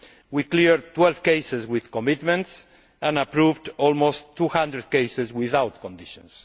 We cleared 12 cases with commitments and approved almost 200 cases without conditions.